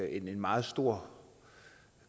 en meget stor